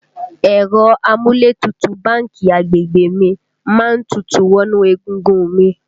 Ẹ̀rọ amúlétutù báńkì agbègbè mi má ń tutù wọnú egungun un mi